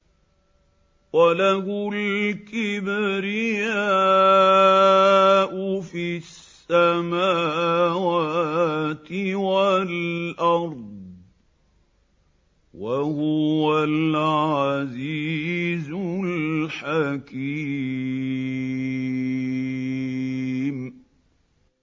وَلَهُ الْكِبْرِيَاءُ فِي السَّمَاوَاتِ وَالْأَرْضِ ۖ وَهُوَ الْعَزِيزُ الْحَكِيمُ